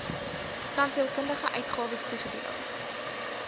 tandheelkundige uitgawes toegedeel